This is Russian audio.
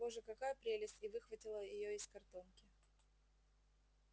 боже какая прелесть и выхватила её из картонки